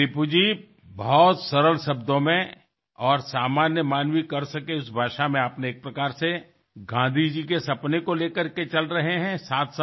बघा रिपु जी फारच सोप्या शब्दात आणि साध्या भाषेत आपण एक प्रकारे गांधीजींचे स्वप्न उराशी बाळगून पुढे चालला आहात